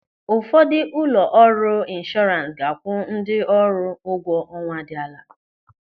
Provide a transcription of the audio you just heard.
Ụfọdụ ụlọ ọrụ inshọrans ga-akwụ ndị ọrụ ụgwọ ọnwa dị ala.